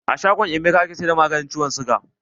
A shangon Emeka ake siyar da maganin ciwon siga.